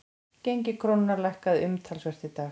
Gengi krónunnar lækkaði umtalsvert í dag